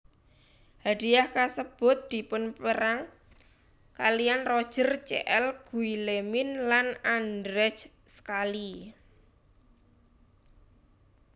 Hadhiah kasebut dipunpérang kaliyan Roger C L Guillemin lan Andrzej Schally